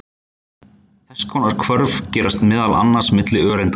Þess konar hvörf gerast meðal annars milli öreinda.